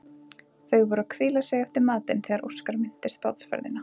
Þau voru að hvíla sig eftir matinn þegar Óskar minntist á bátsferðina.